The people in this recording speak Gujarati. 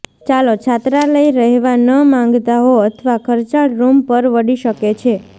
ચાલો છાત્રાલય રહેવા ન માંગતા હો અથવા ખર્ચાળ રૂમ પરવડી શકે છે